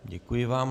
Děkuji vám.